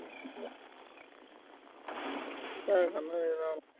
ਐ ਕਰਨਾ ਯਾਰ